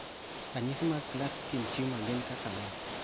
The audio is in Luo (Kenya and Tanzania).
Ranyisi mag Klatskin tumor gin kaka mage?